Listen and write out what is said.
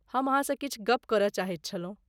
हम अहाँसँ किछु गप करय चाहैत छलहुँ।